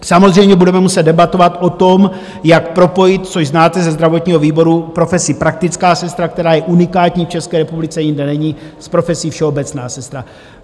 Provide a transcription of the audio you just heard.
Samozřejmě budeme muset debatovat o tom, jak propojit, což znáte ze zdravotního výboru, profesi praktická sestra, která je unikátní v České republice, jinde není, s profesí všeobecná sestra.